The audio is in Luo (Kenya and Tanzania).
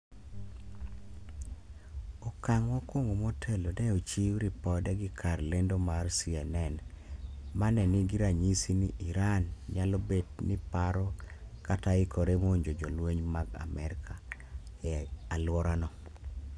okang' mokwongo motelo ne ochiw ripode gi kar lendo mar CNN, ma ne nigi ranyisi ni Iran nyalo bet ni paro kata ikore monjo jolweny mag Amerka, e alworano